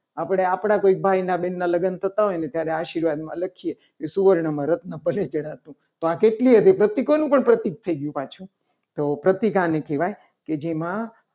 આપણે આપણા કોઈ ભાઈના બેન ના લગ્ન થતા હોય. અને આશીર્વાદમાં લખીએ. કે સુવર્ણમાં રત્ન ભલે જણાતું. તો આ કેટલુંય પ્રતીક પ્રતિક થઈ ગયું. પાછું તો પ્રતીક આને કહેવાય. કે જેમાં